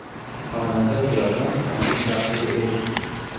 Xonanda Ziyoda onalik baxtiga erishdi.